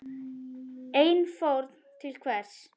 En fórn til hvers?